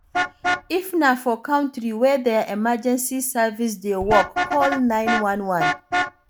If na for country wey their emergency service dey work, call 911